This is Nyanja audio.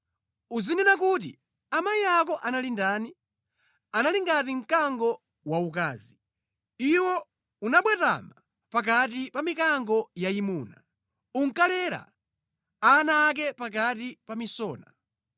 Uzinena kuti, “ ‘Amayi ako anali ndani? Anali ngati mkango waukazi! Iwo unabwatama pakati pa mikango yayimuna; unkalera ana ake pakati pa misona.